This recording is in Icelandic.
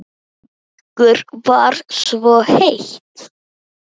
Ykkur var svo heitt.